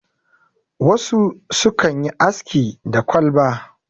wasu sukan yi aski da kwalba